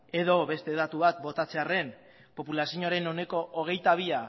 edo beste datu bat botatzearren populazioaren ehuneko hogeita bi